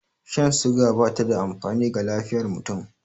Shan suga bata da amfani ga lafiyar mutum